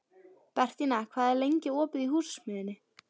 Bentína, hvað er lengi opið í Húsasmiðjunni?